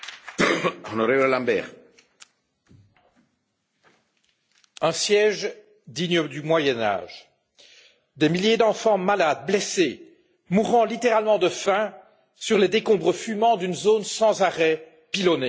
Monsieur le Président, un siège digne du Moyen Âge. Des milliers d'enfants malades, blessés, mourant littéralement de faim sur les décombres fumants d'une zone sans arrêt pilonnée.